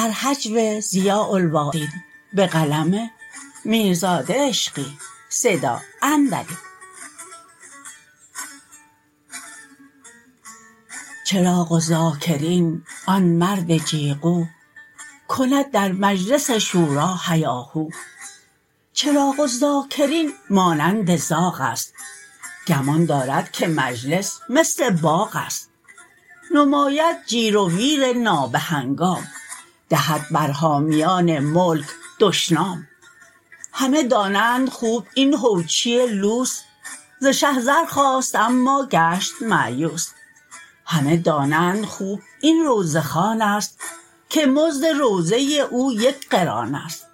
چراغ الذاکرین آن مرد جیغو کند در مجلس شوری هیاهو چراغ الذاکرین مانند زاغ است گمان دارد که مجلس مثل باغ است نماید جیر و ویر نابه هنگام دهد بر حامیان ملک دشنام همه دانند خوب این هوچی لوس ز شه زر خواست اما گشت مأیوس همه دانند خوب این روضه خوان است که مزد روضه او یک قران است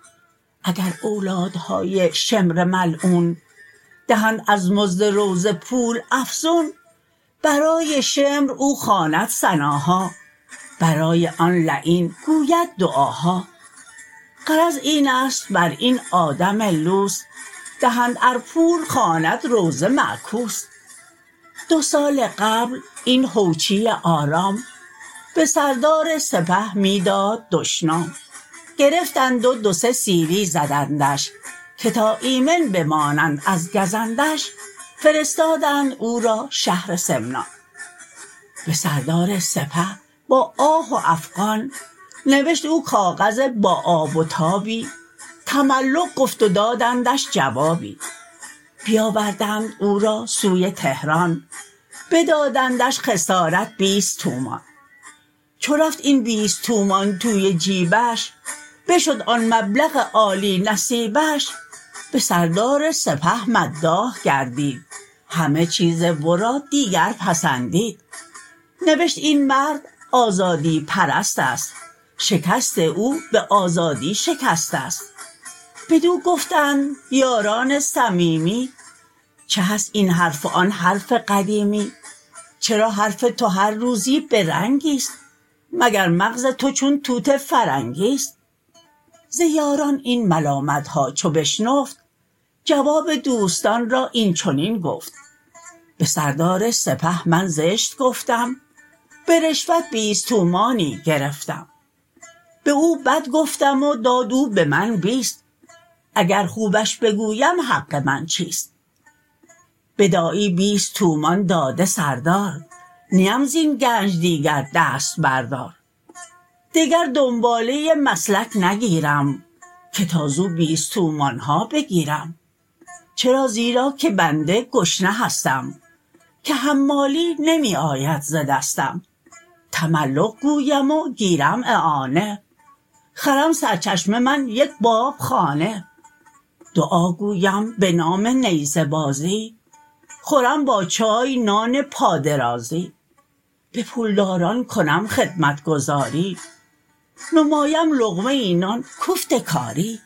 اگر اولادهای شمر ملعون دهند از مزد روضه پول افزون برای شمر او خواند ثناها برای آن لعین گوید دعاها غرض اینست بر این آدم لوس دهند ار پول خواند روضه معکوس دو سال قبل این هوچی آرام به سردار سپه می داد دشنام گرفتند و دو سه سیلی زدندش که تا ایمن بمانند از گزندش فرستادند او را شهر سمنان به سردار سپه با آه و افغان نوشت او کاغذ با آب و تابی تملق گفت و دادندش جوابی بیاوردند او را سوی تهران بدادندش خسارت بیست تومان چو رفت این بیست تومان توی جیبش بشد آن مبلغ عالی نصیبش به سردار سپه مداح گردید همه چیز ورا دیگر پسندید نوشت این مرد آزادی پرست است شکست او به آزادی شکست است بدو گفتند یاران صمیمی چه هست این حرف و آن حرف قدیمی چرا حرف تو هر روزی به رنگی ست مگر مغز تو چون توت فرنگی ست ز یاران این ملامت ها چو بشنفت جواب دوستان را این چنین گفت به سردار سپه من زشت گفتم به رشوت بیست تومانی گرفتم به او بد گفتم و داد او به من بیست اگر خوبش بگویم حق من چیست بداعی بیست تومان داده سردار نیم زین گنج دیگر دست بردار دگر دنباله مسلک نگیرم که تا زو بیست تومان ها بگیرم چرا زیرا که بنده گشنه هستم که حمالی نمی آید ز دستم تملق گویم و گیرم اعانه خرم سر چشمه من یک باب خانه دعا گویم به نام نیزه بازی خورم با چای نان پادرازی به پولداران کنم خدمتگزاری نمایم لقمه ای نان کوفت کاری